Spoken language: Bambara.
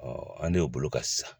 an y'o bolo ka sisan